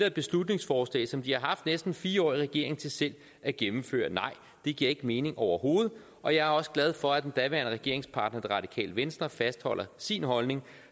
et beslutningsforslag som de har haft næsten fire år i regering til selv at gennemføre nej det giver ikke mening overhovedet og jeg er også glad for at den daværende regeringspartner det radikale venstre fastholder sin holdning